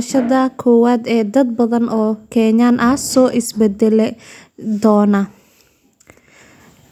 saameynta badan siyaasadda